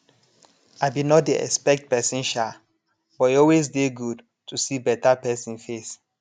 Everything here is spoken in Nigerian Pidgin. i be nor dey expect pesin sha but e always dey good to see beta pesin face